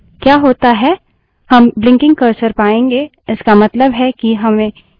क्या होता है हम ब्लिंगकिंग कर्सर पायेंगे इसका मतलब है कि हमें कीबोर्ड से एंटर करने की जरूरत है